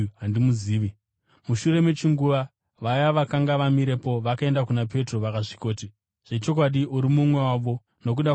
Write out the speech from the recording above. Mushure mechinguva, vaya vakanga vamirepo vakaenda kuna Petro vakasvikoti, “Zvechokwadi uri mumwe wavo nokuda kwamatauriro ako.”